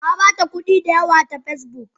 Nabata kudi da yawa ta Facebook.